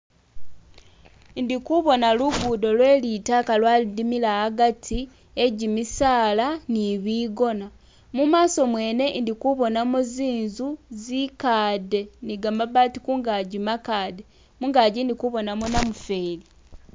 Indikubona lugudo lwelitaka lwadimila hagati he gyimisaala ni bigona mumaso mwene indikubonamo zinzu zikade ni gamabaati kungaji makade mungaji indikubonamo namufeli